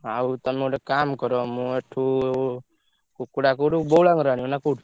ଆଉ ତମେ ଗୋଟେ କାମ୍ କର ମୁଁ ଏଠୁ କୁକୁଡ଼ା କୋଉଠୁ ବଉଳାଙ୍ଗ ରୁ ଆଣିବି ନା କୋଉଠୁ?